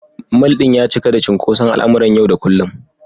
Mall ɗin ya cika da cunkoson al’amuran yau da kullum.